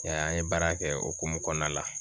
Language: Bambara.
E y'a ye an ye baara kɛ o hokumu kɔnɔna la